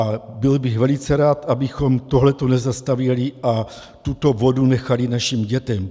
A byl bych velice rád, abychom tohle nezastavěli a tuto vodu nechali našim dětem.